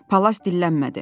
Palas dillənmədi.